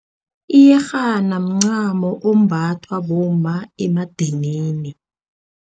Iyerhana mncamo ombathwa bomma emadanini.